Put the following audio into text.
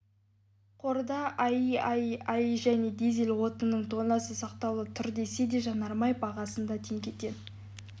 қорда аи аи ай және дизель отынының тоннасы сақтаулы тұр десе де жанармай бағасында теңгеден